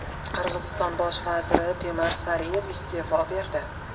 Qirg‘iziston bosh vaziri Temir Sariyev iste’fo berdi.